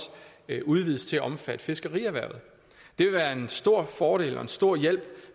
udvides til at omfatte fiskerierhvervet det vil være en stor fordel og en stor hjælp